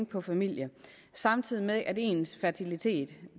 på familie samtidig med at ens fertilitet